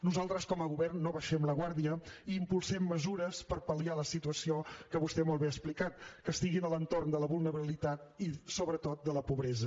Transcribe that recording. nosaltres com a govern no baixem la guàrdia i impulsem mesures per pal·liar les situacions que vostè molt bé ha explicat que estiguin a l’entorn de la vulnerabilitat i sobretot de la pobresa